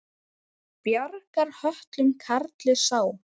Bjargar höltum karli sá.